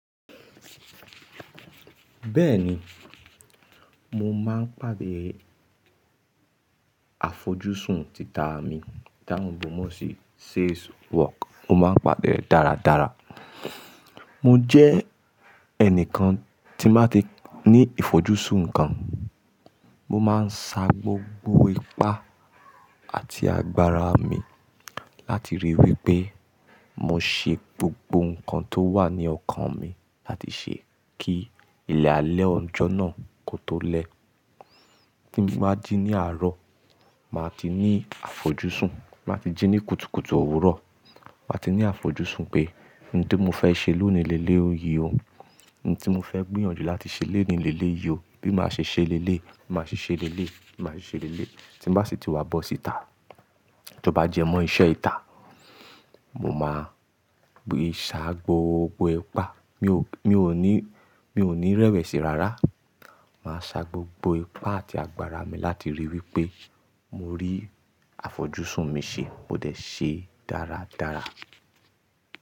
Bẹ́ẹ̀ni, mo máa ń pàdé àfojúsùn tita mi tá ń èèbó mọ́ sí sales work. Mo máa ń pàdé ẹ̀ dáradára. Mo jẹ́ ẹnìkan tí máa ti ní ìfojúsún ǹkan. Mo máa ń sa gbogbo ipá àti agbára mi láti ríi wí pé mo ṣe gbogbo ǹkan tó wà ní ọkàn mi láti ṣe kí ilẹ̀ alẹ́ ọjọ́ náà kó tó lẹ́. Tí mo bá jí ní àárọ̀, màá ti ní àfojúsùn. Máa ti jí ní kùtùkùtù òwúrọ̀, màá ti ní àfojúsùn pé ohun tí mo fẹ́ ṣe lónìí lé lé òyì ọ́. Ohun tí mo fẹ́ gbìyànjú láti ṣe lónìí lé lé yí ò. Bí màá ṣe ṣe léléyi, bí màá ṣe ṣe léléyi, bí màá ṣe ṣe léléyi. Tí mo bá sì ti wá bọ́ síta, tó bá jẹ mọ́ iṣẹ́ ita, mo máa sa gbogbo ipá. Mi ò ní, mi ò ní rẹ́wẹ̀sì rárá. Màá sa gbogbo ipá àti agbára mi láti ríi wí pé mo rí àfojúsùn mi ṣe. Mo dẹ̀ ṣe e dáradára.